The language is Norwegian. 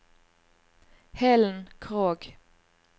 Helen Krogh